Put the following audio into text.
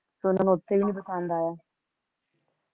ਫੇਰ ਓਹਨਾ ਨੂੰ ਉਥੇ ਵੀ ਪਸੰਦ ਨੀ ਆਯਾ